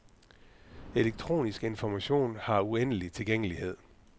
Elektronisk information har uendelig tilgængelighed.